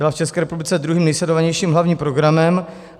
Byla v ČR druhým nejsledovanějším hlavním programem.